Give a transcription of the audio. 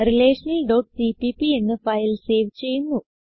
relationalസിപിപി എന്ന് file save ചെയ്യുന്നു